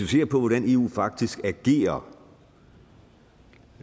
ser på hvordan eu faktisk agerer